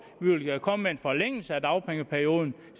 vi vil komme med en forlængelse af dagpengeperioden